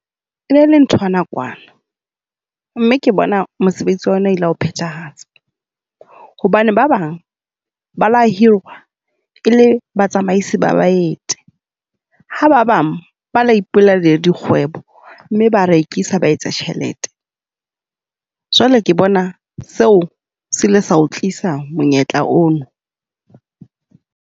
E ne le nthwa nakwana mme ke bona mosebetsi wa yona o ile wa e phethahatsa. Hobane ba bang ba la hirwa e le batsamaisi ba baeti, ha ba bang ba la ipulela la dikgwebo, mme ba rekisa ba etsa tjhelete. Jwale ke bona seo se ile sa o tlisa monyetla ono.